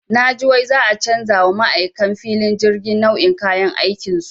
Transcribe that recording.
Naji wai za'a canja wa ma'aikan filin jirgi nau'in kayan aikinsu.